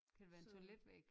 Kan det være en toiletvæg?